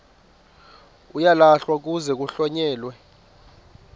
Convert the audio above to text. uyalahlwa kuze kuhlonyelwe